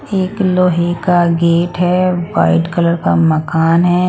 एक लोहे का गेट है वाइट कलर का मकान है.